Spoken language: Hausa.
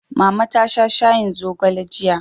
Mama ta sha shayin zogale jiya.